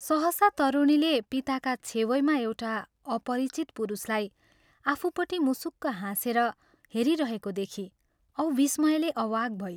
सहसा तरुणीले पिताका छेवैमा एउटा अपरिचित पुरुषलाई आफूपट्टि मुसुक हाँसेर हेरिरहेको देखी औ विस्मयले अवाक् भई।